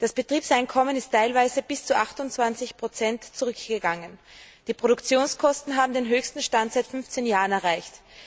Das Betriebseinkommen ist teilweise um bis zu 28 zurückgegangen. Die Produktionskosten haben den höchsten Stand seit fünfzehn Jahren erreicht.